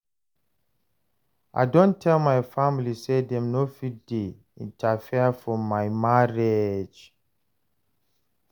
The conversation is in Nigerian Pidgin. I don tell my family sey dem no fit dey interfere for my marriage.